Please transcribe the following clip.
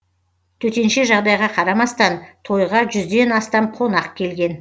төтенше жағдайға қарамастан тойға жүзден астам қонақ келген